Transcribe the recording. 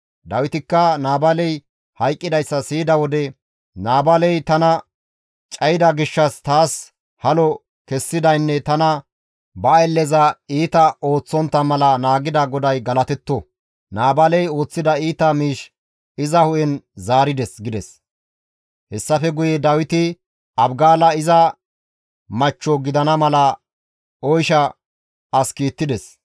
Dawitikka Naabaaley hayqqidayssa siyida wode, «Naabaaley tana cayida gishshas taas halo kessidaynne tana ba aylleza iita ooththontta mala naagida GODAY galatetto; Naabaaley ooththida iita miish iza hu7en zaarides» gides. Hessafe guye Dawiti Abigaala iza machcho gidana mala oysha as kiittides.